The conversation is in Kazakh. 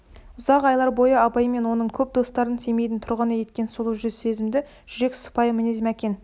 ұзақ айлар бойына абай мен оның көп достарын семейдің тұрғыны еткен сұлу жүз сезімді жүрек сыпайы мінез мәкен